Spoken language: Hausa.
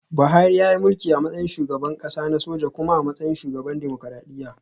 Buhari yayi mulki a matsayin shugaban kasa na soja kuma a matsayin shugaban dimokuradiyya